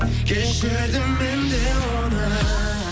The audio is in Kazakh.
кешірдім мен де оны